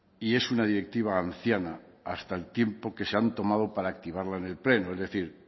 y es una directiva anciana hasta el tiempo que se han tomado para activarla en el pleno es decir